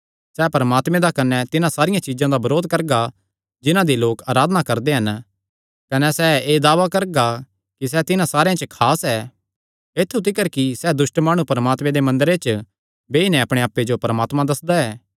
सैह़ परमात्मे दा कने तिन्हां सारियां चीज्जां दा बरोध करगा जिन्हां दी लोक अराधना करदे हन कने सैह़ एह़ दावा करदा ऐ कि सैह़ तिन्हां सारेयां ते खास ऐ ऐत्थु तिकर कि सैह़ दुष्ट माणु परमात्मे दे मंदरे च बेई नैं अपणे आप्पे जो परमात्मा दस्सदा ऐ